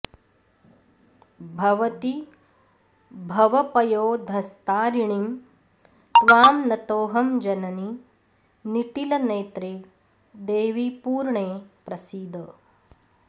भवति भवपयोधस्तारिणीं त्वां नतोऽहं जननि निटिलनेत्रे देवि पूर्णे प्रसीद